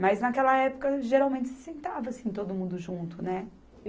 Mas, naquela época, geralmente, se sentava, assim, todo mundo junto, né?